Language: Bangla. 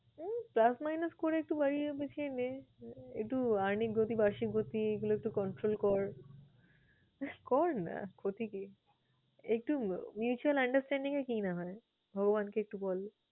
উম Plus minus করে একটু বাড়িয়ে বেশিয়ে নে, একটু আহ্নিক গতি, বার্ষিক গতি এগুলা একটু control কর। কর না, ক্ষতি কি? একটু mutual understanding এ কি না হয় ভগবানকে একটু বল।